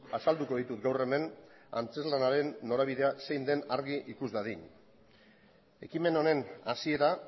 azalduko ditut gaur hemen antzezlanaren norabidea zein den argi ikus dadin ekimen honen hasiera